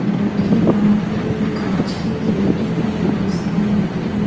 Mall के बाहर में कांच के गेट हैं बहोत सारी लाइटे है।